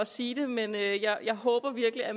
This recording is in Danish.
sige det men jeg jeg håber virkelig at